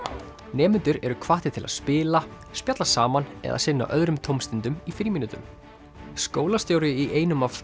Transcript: nemendur eru hvattir til að spila spjalla saman eða sinna öðrum tómstundum í frímínútum skólastjóri í einum af